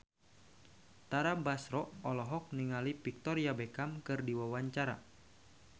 Tara Basro olohok ningali Victoria Beckham keur diwawancara